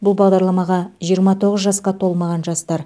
бұл бағдарламаға жиырма тоғыз жасқа толмаған жастар